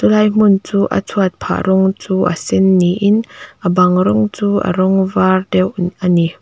helai hmun chu a chhuat phah rawng chu a sen niin a bang rawng chu a rawng var deuh i a ni.